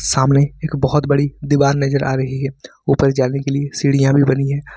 सामने एक बहुत बड़ी दीवार नजर आ रही है ऊपर जाने के लिए सीढ़ियां भी बनी है।